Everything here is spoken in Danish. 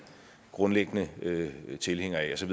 grundlæggende tilhænger af så